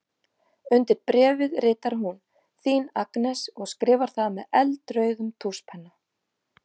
Undir bréfið ritar hún: Þín Agnes og skrifar það með eldrauðum tússpenna.